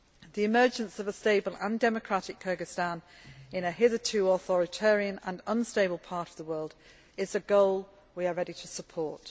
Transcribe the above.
The emergence of a stable and democratic Kyrgyzstan in a hitherto authoritarian and unstable part of the world is a goal we are ready to support.